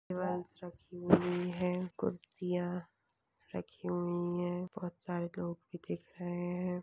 Tables रखी हुई है कुर्सिया रखी हुई है बहुत सारे लोग भी दिख रहे है।